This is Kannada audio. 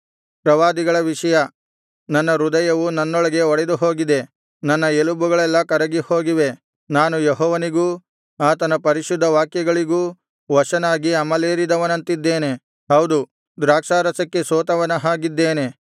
ಪ್ರವಾದಿಗಳ ವಿಷಯ ನನ್ನ ಹೃದಯವು ನನ್ನೊಳಗೆ ಒಡೆದುಹೋಗಿದೆ ನನ್ನ ಎಲುಬುಗಳೆಲ್ಲಾ ಕರಗಿಹೋಗಿವೆ ನಾನು ಯೆಹೋವನಿಗೂ ಆತನ ಪರಿಶುದ್ಧ ವಾಕ್ಯಗಳಿಗೂ ವಶನಾಗಿ ಅಮಲೇರಿದವನಂತಿದ್ದೇನೆ ಹೌದು ದ್ರಾಕ್ಷಾರಸಕ್ಕೆ ಸೋತವನ ಹಾಗಿದ್ದೇನೆ